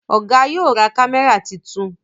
Oga yóò ra kámẹ́rà títún.